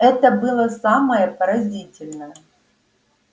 это было самое поразительное